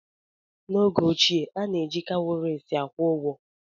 N'oge ochie, a na-eji kawuries akwụ ụgwọ.